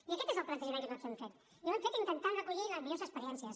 i aquest és el plantejament que nosaltres hem fet i ho hem fet intentant recollir les millors experiències